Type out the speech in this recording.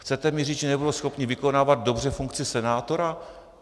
Chcete mi říci, že nebudou schopni vykonávat dobře funkci senátora?